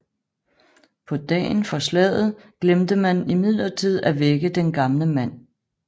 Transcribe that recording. På dagen for slaget glemte man imidlertid at vække den gamle mand